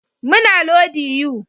Muna lodi yu